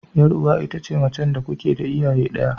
Yar uwa ita ce macen da kuke da iyaye daya.